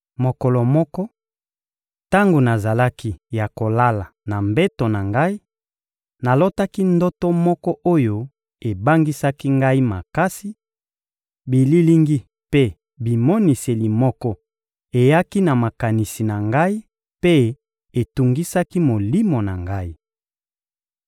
Mokolo moko, tango nazalaki ya kolala na mbeto na ngai, nalotaki ndoto moko oyo ebangisaki ngai makasi; bililingi mpe bimoniseli moko eyaki na makanisi na ngai mpe etungisaki molimo na ngai.